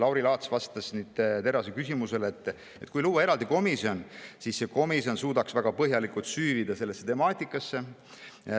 Lauri Laats vastas Terrase küsimusele, et kui luua eraldi komisjon, siis see komisjon suudaks väga põhjalikult sellesse temaatikasse süüvida.